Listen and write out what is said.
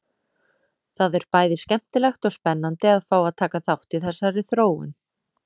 Það er bæði skemmtilegt og spennandi að fá að taka þátt í þessari þróun!